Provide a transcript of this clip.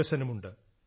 വികസനമുണ്ട്